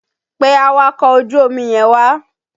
Pe awakọ̀ ojú omi yẹn wá!